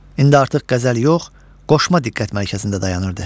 İndi artıq qəzəl yox, qoşma diqqət mərkəzində dayanırdı.